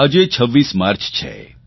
આજે 26 માર્ચ છે